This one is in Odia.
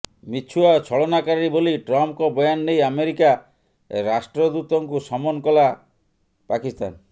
ମିଛୁଆ ଓ ଛଳନାକାରୀ ବୋଲି ଟ୍ରମ୍ପଙ୍କ ବୟାନ ନେଇ ଆମେରିକା ରାଷ୍ଟ୍ରଦୂତଙ୍କୁ ସମନ କଲା ପାକିସ୍ତାନ